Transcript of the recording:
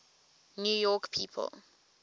new york people